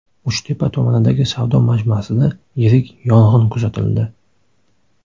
Uchtepa tumanidagi savdo majmuasida yirik yong‘in kuzatildi .